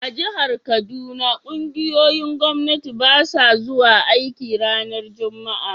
A'jihar Kaduna, ƙungiyoyin Gwamnati basu zuwa aiki ranan Juma'a.